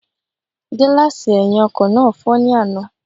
Gílààsì ẹ̀hìn ọkọ̀ náà fọ́ ní àná